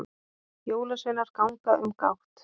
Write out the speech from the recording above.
Jólasveinar ganga um gátt